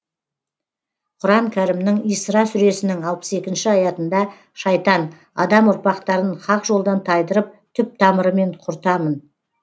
құран кәрімнің исра сүресінің алпыс екінші аятында шайтан адам ұрпақтарын хақ жолдан тайдырып түп тамырымен құртамын